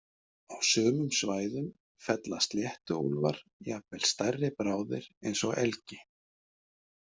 Á sumum svæðum fella sléttuúlfar jafnvel stærri bráðir eins og elgi.